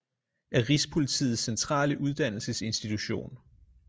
Er rigspolitiets centrale uddannelsesinstitution